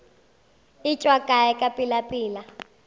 e tšwa kae ka pelapela